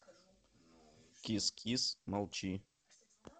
кис кис молчи